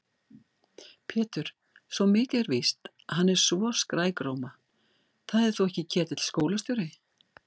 Pétur, svo mikið er víst, hann er svo skrækróma. það er þó ekki Ketill skólastjóri?